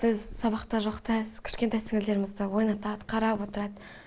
біз сабақта жоқта кішкентай сіңілдерімізді ойнатады қарап отырады